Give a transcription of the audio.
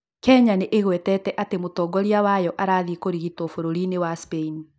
Kenya nĩ ĩgwetete atĩ atĩ mũtongoria wayo nĩ arathiĩ kũrigitwo bũrũri-inĩ wa Spain.